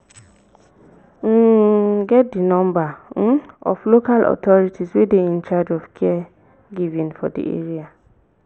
um get di number um of local authorities wey dey in charge of caregivign for di area